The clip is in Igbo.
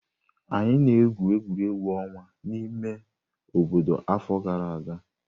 Anyị na-egwu egwuregwu ọnwa n'ime ime obodo afọ gara aga.